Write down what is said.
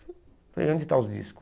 Eu falei, onde estão os discos?